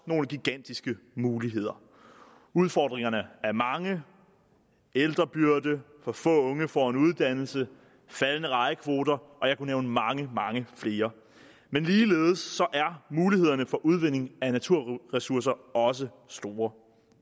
nogle gigantiske muligheder udfordringerne er mange ældrebyrde at for få unge får en uddannelse og faldende rejekvoter og jeg kunne nævne mange mange flere men ligeledes er mulighederne for udvinding af naturressourcer også store